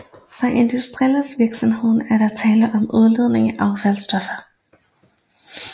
For industriens vedkommende er der tale om udledning af affaldsstoffer